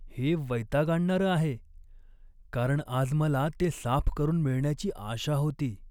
हे वैताग आणणारं आहे, कारण आज मला ते साफ करून मिळण्याची आशा होती..